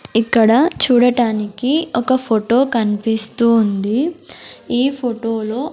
ఇక్కడ చూడటానికి ఒక ఫొటో కనిపిస్తూ ఉంది ఈ ఫొటోలో --